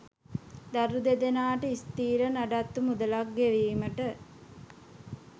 දරු දෙදෙනාට ස්ථිර නඩත්තු මුදලක් ගෙවීමට